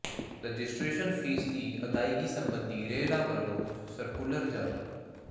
registration fee ਦੀ ਅਦਾਇਗੀ ਸਬੰਧੀ ਰੇਰਾ ਵੱਲੋਂ ਸਰਕੂਲਰ ਜਾਰੀ